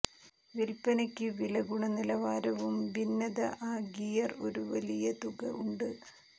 വില്പനയ്ക്ക് വില ഗുണനിലവാരവും ഭിന്നത ആ ഗിയർ ഒരു വലിയ തുക ഉണ്ട്